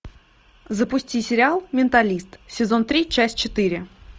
запусти сериал менталист сезон три часть четыре